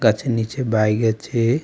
গাছের নীচে বাইক আছে।